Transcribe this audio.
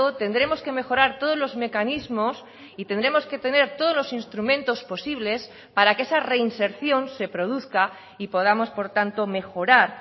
tendremos que mejorar todos los mecanismos y tendremos que tener todos los instrumentos posibles para que esa reinserción se produzca y podamos por tanto mejorar